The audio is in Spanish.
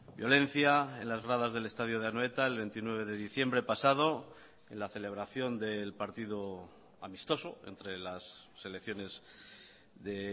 violencia en las gradas del estadio de anoeta el veintinueve de diciembre pasado en la celebración del partido amistoso entre las selecciones de